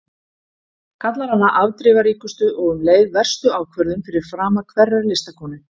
Kallar hana afdrifaríkustu og um leið verstu ákvörðun fyrir frama hverrar listakonu.